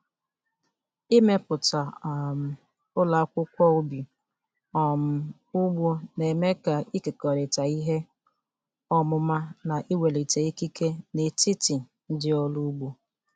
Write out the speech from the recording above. Ịmepụta um ụlọ akwụkwọ ubi um ugbo na-eme ka ịkekọrịta ihe ọmụma na iwulite ikike n'etiti ndị ọrụ ugbo.